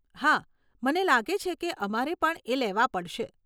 હા, મને લાગે છે કે અમારે પણ એ લેવા પડશે.